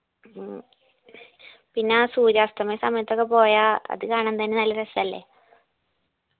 ഉം പിന്നാ സൂര്യാസ്തമയ സമയത്തൊക്കെ പോയാ അത് കാണാൻ തന്നെ നല്ല രസല്ലേ